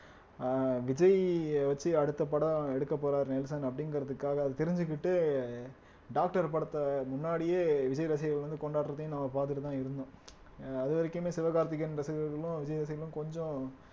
அஹ் விஜய் வச்சு அடுத்த படம் எடுக்கப் போறார் நெல்சன் அப்படீங்கிறதுக்காக அது தெரிஞ்சுக்கிட்டு டாக்டர் படத்த முன்னாடியே விஜய் ரசிகர்கள் வந்து கொண்டாடுறதையும் நம்ம பாத்துட்டுதான் இருந்தோம் அதுவரைக்குமே சிவகார்த்திகேயன் ரசிகர்களும் விஜய் ரசிகர்களும் கொஞ்சம்